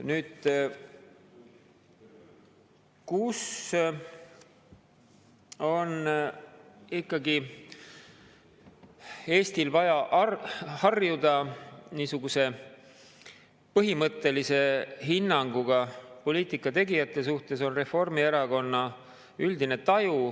Nüüd, kui Eestil on vaja harjuda niisuguse põhimõttelise hinnanguga poliitikategijatele, on Reformierakonna üldine taju …